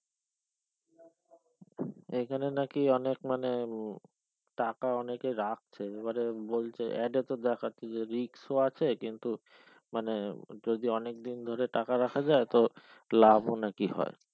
এখানে নাকি অনেক মানে টাকা অনেক রাখছে এবারে বলছে add এ তো দেখাচ্ছে যে risk ও আছে কিন্তু মানে যদি অনেক দিন ধরে টাকা রাখা যায় তো লাভ ও নাকি হয়